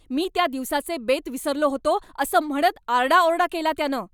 मी त्या दिवसाचे बेत विसरलो होतो असं म्हणत आरडाओरडा केला त्यानं.